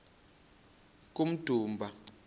kummdumba